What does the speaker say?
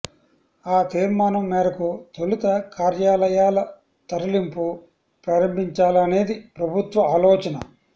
ఆ తీర్మానం మేరకు తొలుత కార్యాలయాల తరలింపు ప్రారంభించాలనేది ప్రభుత్వ ఆలోచన